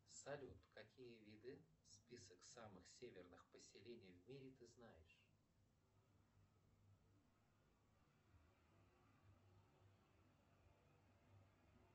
салют какие виды список самых северных поселений в мире ты знаешь